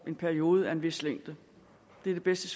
en periode af en vis længde det er det bedste